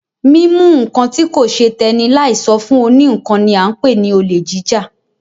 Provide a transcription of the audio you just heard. Mímú nǹkan tí kò ṣe tẹ́nì láì sọ fún òní ńkan ni a ń pè ní olè jíjà.